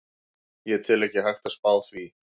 Ég tel ekki hægt að spá því.